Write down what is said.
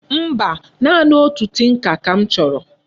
Mba, naanị otu tinka ka m choro.